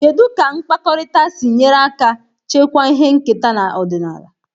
Kedu ka mkpakọrịta si nyere aka chekwaa ihe nketa na ọdịnala?